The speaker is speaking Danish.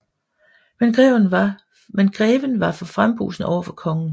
Men greven var for frembrusende over for kongen